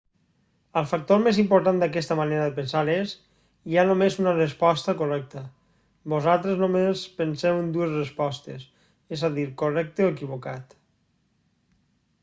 el factor més important d'aquesta manera de pensar és hi ha només una resposta correcta vosaltres només penseu en dues respostes és a dir correcte o equivocat